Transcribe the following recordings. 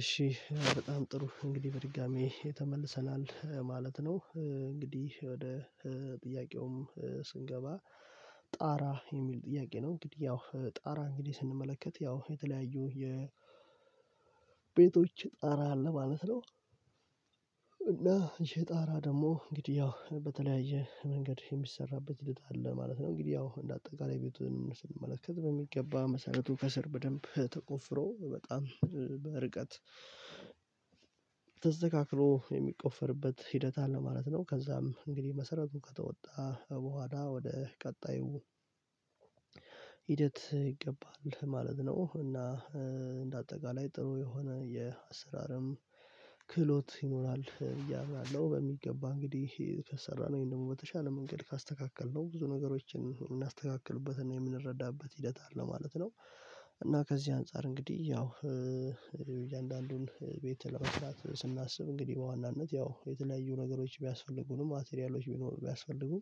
እሺ በጣም ጥሩ እንግዲህ በድጋሚ ተመልሰናል ማለት ነው እንግዲህ ወደ ጥያቄውም ስንገባ ጣራ የሚል ጥያቄ ነው እንግዲህ ያው ጣራ እንግዲህ ስንመለከት ያው የተለያዩ የቤቶች ጣራ አለ ማለት ነው፤ እና ይሄ ጣራ ደግሞ እንግዲህ ያው በተለያየ መንገድ የሚሰራበት ሂደት አለ ማለት ነው እንግዲህ ያው እንደ አጠቃላይ ቤቱን ስንመለከት በሚገባ መሰረቱ ከስር በደንብ ተቆፍሮ በጣም በርቀት ተስተካክሎ የሚቆፈርበት ሂደት አለ ማለት ነው ከዛም እንግዲህ መሰረቱ ከተወጣ በኋላ ወደ ቀጣዩ ሂደት ይገባል ማለት ነው እና እንደ አጠቃላይ ጥሩ የሆነ የአሰራርም ክህሎት ይኖራል እያልን ነው በሚገባ እንግዲህ ከሰራነው ይሄን ደግሞ በተሻለ መንገድ ካስተካከልነው ብዙ ነገሮችን የምናስተካክልበትን እና የምንረዳበት ሂደት አለ ማለት ነው እና ከዚህ አንፃር እንግዲህ ያው እያንዳንዱን ቤት ለመስራት ስናስብ እንግዲህ በዋናነት ያው የተለያዩ ነገሮች ቢያስፈልጉንም ማቴሪያሎች ቢኖሩ ቢያስፈልጉ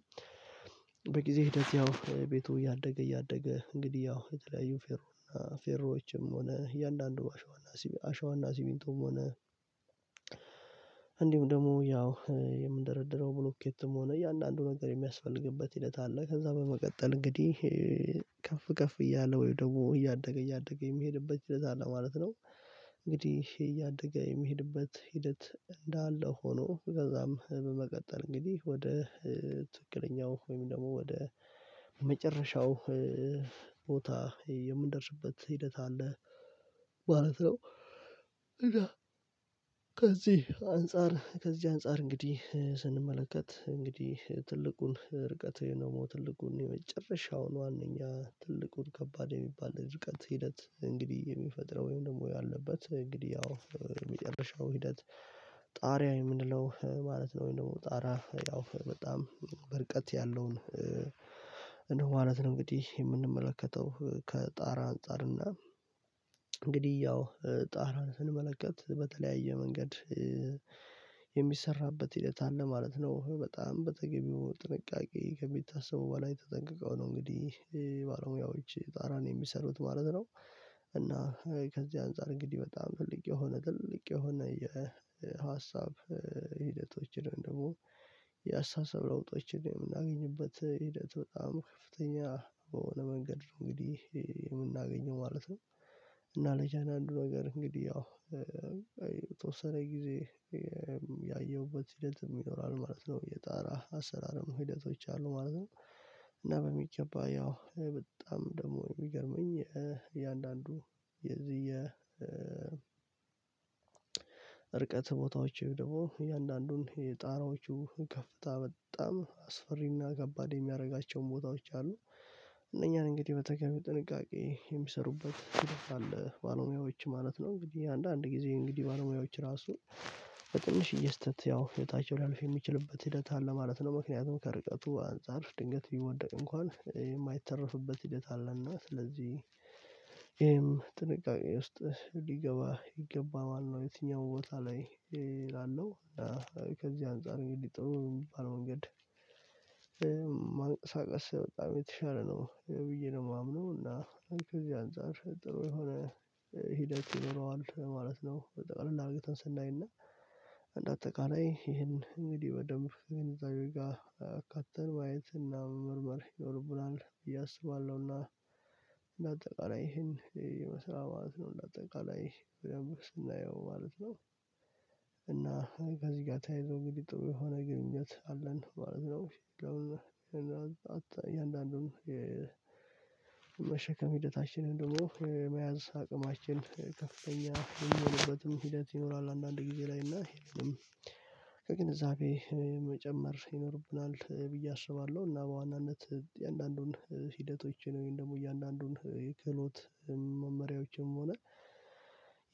በጊዜ ሂደት ያው ቤቱ እያደገ እያደገ እንግዲህ ያው የተለያዩ ፌሮ እና ፌሮዎችም ሆነ እያንዳንዱ አሸዋና አሸዋና ሲሚንቶም ሆነ እንዲሁም ደግሞ ያው የምንደረድረው ብሎኬትም ሆነ እያንዳንዱ ነገር የሚያስፈልግበት ሂደት አለ ከዛ በመቀጠል እንግዲህ ከፍ ከፍ እያለ ወይ ደግሞ እያደገ እያደገ የሚሄድበት ለዛ አለ ማለት ነው እንግዲህ እያደገ የሚሄድበት ሂደት እንዳለ ሆኖ ከዛም በመቀጠል እንግዲህ ወደ ትክክለኛው ወይም ደግሞ ወደ መጨረሻው ቦታ የምንደርስበት ሂደት አለ ማለት ነው እና ከዚህ አንፃር እንግዲህ ስንመለከት እንግዲህ ትልቁን ርቀት ወይንም ደግሞ ትልቁን የመጨረሻውን ዋነኛ ትልቁን ከባድ የሚባል ርቀት ሂደት እንግዲህ የሚፈጥረው ወይም ደግሞ ያለበት እንግዲህ ያው የመጨረሻው ሂደት ጣሪያ የምንለው ማለት ነው ወይ ደግሞ ጣራ ያው በጣም በርቀት ያለውን እንደው ማለት ነው እንግዲህ የምንመለከተው ከጣራ አንፃር እና እንግዲህ ያው ጣራን ስንመለከት በተለያየ መንገድ የሚሰራበት ሂደት አለ ማለት ነው በጣም በተገቢው ጥንቃቄ ከሚታሰበው በላይ ተጠንቅቀው ነው እንግዲህ ባለሙያዎች ጣራን የሚሰሩት ማለት ነው እና ከዚህ አንፃር እንግዲህ በጣም ትልቅ የሆነ ትልቅ የሆነ የሀሳብ ሂደቶችን ደግሞ የአስተሳሰብ ለውጦችን የምናገኝበት ሂደት በጣም ከፍተኛ በሆነ መንገድ ነው እንግዲህ የምናገኘው ማለት ነው እና ለቻናል አንዱ ነገር እንግዲህ ያው የተወሰነ ጊዜ ያየሁበት ሂደትም ይኖራል ማለት ነው የጣራ አሰራርም ሂደቶች አሉ ማለት ነው እና በሚገባ ያው በጣም ደግሞ የሚገርመኝ እያንዳንዱ የዚህ እርቀት ቦታዎች ደግሞ እያንዳንዱን የጣራዎቹ ከፍታ በጣም አስፈሪና ከባድ የሚያደርጋቸውን ቦታዎች አሉ እነኛ እንግዲህ በተገቢው ጥንቃቄ የሚሰሩበት ሂደት አለ ባለሙያዎች ማለት ነው እንግዲህ አንዳንድ ጊዜ እንግዲህ ባለሙያዎች ራሱ በትንሽዬ ስህተት ያው ህይወታቸው ሊያልፍ የሚችልበት ሂደት አለ ማለት ነው ምክንያቱም ከርቀቱ አንፃር ድንገት ቢወደቅ እንኳን የማይተረፍበት ሂደት አለና ስለዚህ ይሄም ጥንቃቄ ውስጥ ሊገባ ይገባል ማለት ነው የትኛው ቦታ ላይ ያለው ከዚህ አንፃር እንግዲህ ጥሩ የሚባል መንገድ ማንቀሳቀስ በጣም የተሻለ ነው ብዬ ነው የማምነው እና ከዚያ አንፃር ጥሩ የሆነ ሂደት ይኖረዋል ማለት ነው ጠቅለል አርግተን ስናይና እንደ አጠቃላይ ይሄን እንግዲህ በደንብ ከግንዛቤ ጋር አካተን ማየት እና መመርመር ይኖርብናል ብዬ አስባለሁና እንደ አጠቃላይ ይሄን ይመስላል ማለት ነው እንደ አጠቃላይ ስናየው ማለት ነው። እና ከዚህ ጋር ተያይዞ እንግዲህ ጥሩ የሆነ ግንኙነት አለን ማለት ነው እያንዳንዱን የመሸከም ሂደታችንን ደግሞ የመያዝ አቅማችን ከፍተኛ የሚሆንበትም ሂደት ይኖራል አንዳንድ ጊዜ ላይ እና ከግንዛቤ መጨመር ይኖርብናል ብዬ አስባለሁ እና በዋናነት የእያንዳንዱን ሂደቶቼ ወይም ደግሞ እያንዳንዱን የክህሎት መመሪያዎችም ሆነ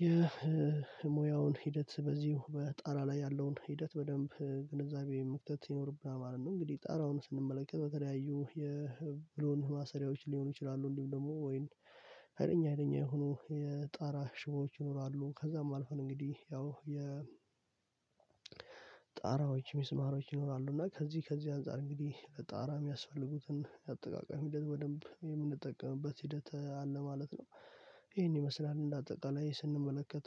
የሙያውን ሂደት በዚሁ በጣራ ላይ ያለውን ሂደት በደንብ ግንዛቤ መክተት ይኖርብናል ማለት ነው እንግዲህ ጣራውን ስንመለከት በተለያዩ የብሎን ማሰሪያዎች ሊሆኑ ይችላሉ እንዲሁም ደግሞ ወይንም ሀይለኛ ሀይለኛ የሆኑ የጣራ ሽቦዎች ይኖራሉ ከዛም አልፈን እንግዲህ ያው የጣራዎች ሚስማሮች ይኖራሉ እና ከዚህ ከዚህ አንፃር እንግዲህ በጣራ የሚያስፈልጉትን የአጠቃቀም ሂደት በደንብ የምንጠቀምበት ሂደት አለ ማለት ነው ይሄን ይመስላል እንደ አጠቃላይ ስንመለከት